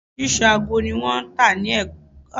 Oríṣiríṣi aago ni wọn ń tà ní Ẹ̀ka aago títa